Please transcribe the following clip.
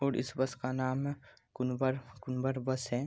और इस बस का नाम है कुनबर कुनबर बस हैं।